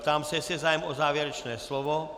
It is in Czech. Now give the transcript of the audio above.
Ptám se, jestli je zájem o závěrečné slovo.